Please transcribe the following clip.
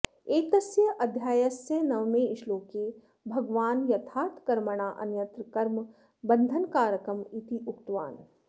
एतस्य अध्यायस्य नवमे श्लोके भगवान् यथार्थकर्मणा अन्यत्र कर्म बन्धनकारकम् इति उक्तवान्